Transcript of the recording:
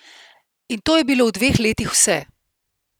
In to je bilo v dveh letih vse!